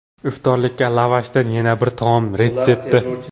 Iftorlikka lavashdan yana bir taom retsepti.